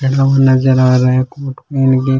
ये लोग नजर आ रहे है --